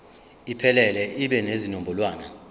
iphelele ibe nezinombolwana